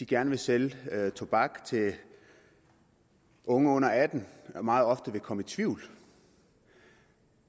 gerne vil sælge tobak til unge under atten år meget ofte vil komme i tvivl